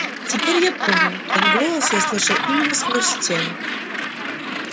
теперь я понял тот голос я слышал именно сквозь стену